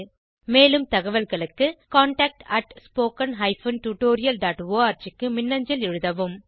மேலும் தகவல்களுக்கு contactspoken tutorialorg க்கு மின்னஞ்சல் எழுதவும்